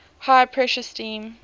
high pressure steam